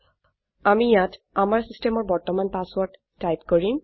আমি ইয়াত আমাৰ চিচটেমৰ বৰ্তমান পাছৱৰ্ৰদ টাইপ কৰিম